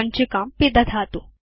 सञ्चिकां पिदधातु